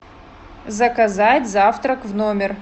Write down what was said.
заказать завтрак в номер